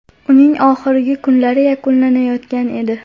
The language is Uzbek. Uning oxirgi kunlari yakunlanayotgan edi.